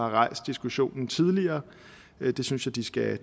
rejst diskussionen tidligere det synes jeg de skal